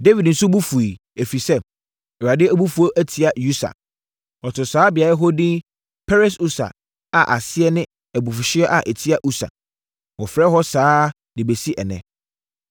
Dawid nso bo fuiɛ, ɛfiri sɛ, Awurade abufuo atia Usa. Ɔtoo saa beaeɛ hɔ edin Peres-Usa a aseɛ ne abufuhyeɛ a ɛtia Usa. Wɔfrɛ hɔ saa ara de bɛsi ɛnnɛ.